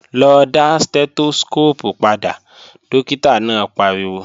Lọ dá Stẹ́tóskóópù padà, dókítà náà pariwo!